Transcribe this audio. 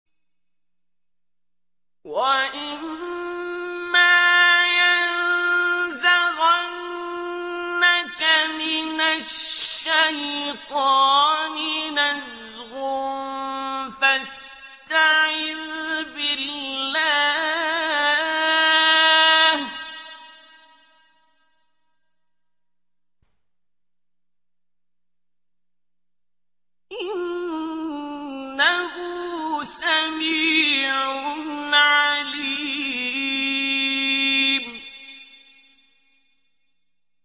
وَإِمَّا يَنزَغَنَّكَ مِنَ الشَّيْطَانِ نَزْغٌ فَاسْتَعِذْ بِاللَّهِ ۚ إِنَّهُ سَمِيعٌ عَلِيمٌ